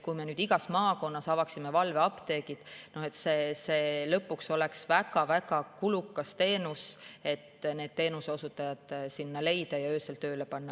Kui me igas maakonnas avaksime valveapteegid, siis see oleks lõpuks väga-väga kulukas teenus, kui need teenuseosutajad sinna leida ja öösel tööle panna.